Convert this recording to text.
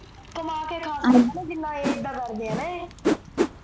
ਕਮਾ ਕੇ ਖਾਨ ਲੇਨ ਜਿਨਾ ਇਹ ਏਦਾ ਕਰਦੇ ਨਾ ਇਹ